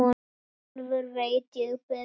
Sjálfur veit ég betur.